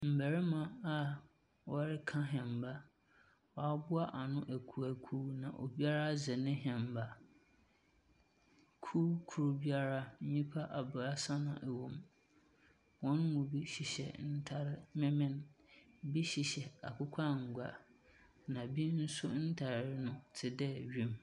Mmarima a wɔreka wɔreka hemaa. Wɔaboa ano akuw akuw na obiara dze ne hemaa. Kuw kor nnyima abaasa na wɔwɔ mu. Hɔn mu bi hyehyɛ atar menmen. Bi hyehyɛ akokɔ annwa., bi nso wɔn ntar te dɛ wim.